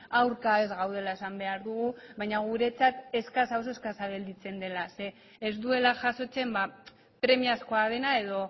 aurka ez gaudela esan behar dugu baina guretzat oso eskasa gelditzen dela ez duela jasotzen premiazkoa dena edo